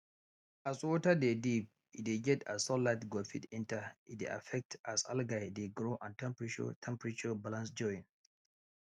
as water de deep e de get as sunlight go fit enter e de affect as algae de grow and temperarture temperarture balance join